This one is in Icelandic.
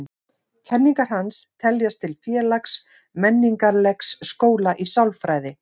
Kenningar hans teljast til félags-menningarlegs skóla í sálfræði.